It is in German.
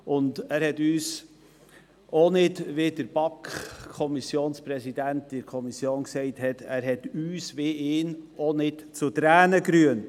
Auch hat er uns nicht, wie es auch der Präsident der BaK in der Kommission gesagt hatte, zu Tränen gerührt.